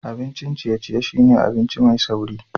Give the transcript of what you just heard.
Abincin ciye-ciye shine abinci mai sauri